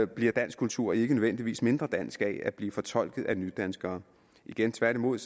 bliver dansk kultur ikke nødvendigvis mindre dansk af at blive fortolket af nydanskere igen tværtimod